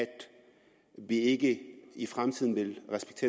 vi ikke i fremtiden vil